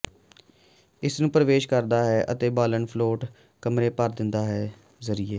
ਇਸ ਨੂੰ ਪਰਵੇਸ਼ ਕਰਦਾ ਹੈ ਅਤੇ ਬਾਲਣ ਫਲੋਟ ਕਮਰੇ ਭਰ ਦਿੰਦਾ ਹੈ ਜ਼ਰੀਏ